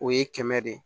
O ye kɛmɛ de ye